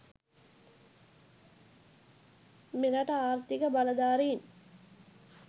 මෙරට ආර්ථික බලධාරීන්